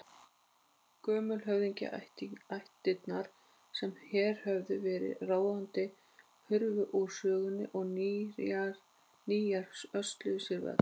Gömlu höfðingjaættirnar sem hér höfðu verið ráðandi hurfu úr sögunni og nýjar hösluðu sér völl.